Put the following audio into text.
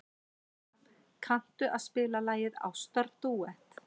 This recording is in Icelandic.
Klara, kanntu að spila lagið „Ástardúett“?